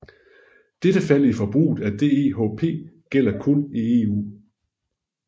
Dette fald i forbruget af DEHP gælder kun i EU